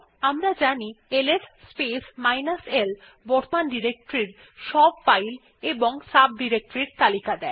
আমরা জানি LS space minus l বর্তমান ডিরেক্টরি র সব ফাইল এবং সাব ডিরেক্টরির তালিকা দেয়